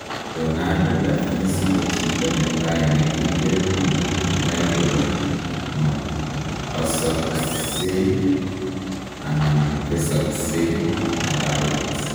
Leonardo da Vinci ko chito netai negingen amun kinai kole ma posakseng anan tesakseng arawet